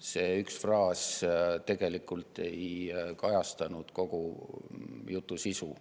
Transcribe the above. See üks fraas ei kajasta tegelikult kogu jutu sisu.